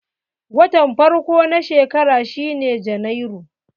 Watan farko na shekara shine Janairu.